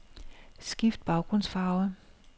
Skift baggrundsfarve.